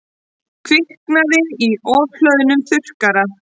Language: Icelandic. Kviknaði í ofhlöðnum þurrkara